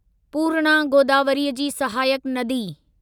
पूर्णा गोदावरीअ जी सहायक नदी